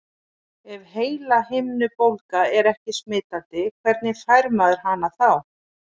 Ef heilahimnubólga er ekki smitandi, hvernig fær maður hana þá?